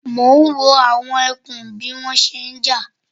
Mò ń wo àwọn ẹkùn bí wọ́n ṣe ń jà